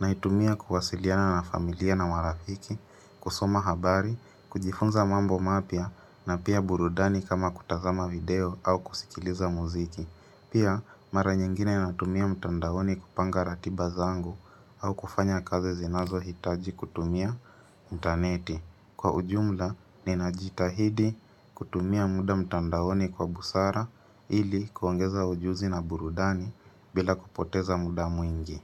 naitumia kuwasiliana na familia na marafiki, kusoma habari, kujifunza mambo mapya na pia burudani kama kutazama video au kusikiliza muziki. Pia mara nyingine natumia mtandaoni kupanga ratiba zangu au kufanya kazi zinazo hitaji kutumia intaneti. Kwa ujumla ninajitahidi kutumia muda mtandaoni kwa busara ili kuongeza ujuzi na burudani bila kupoteza muda mwingi.